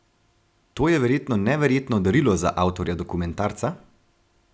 To je verjetno neverjetno darilo za avtorja dokumentarca?